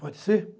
Pode ser?